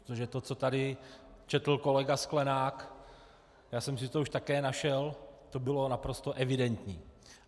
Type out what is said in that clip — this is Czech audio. Protože to, co tady četl kolega Sklenák, já jsem si to už také našel, to bylo naprosto evidentní.